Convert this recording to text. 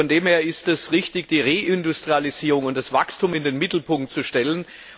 Von dem her ist es richtig, die Reindustrialisierung und das Wachstum in den Mittelpunkt zu stellen.